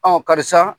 karisa